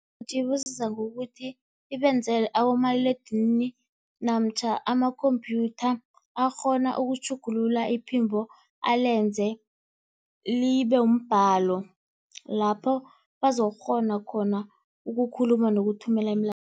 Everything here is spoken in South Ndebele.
ngokuthi ibenzele abomaliledinini namtjhana amakhompyutha akghona ukutjhugulula iphimbo alenze libe mbhalo lapho bazokukghona khona ukukhuluma nokuthumela imilayezo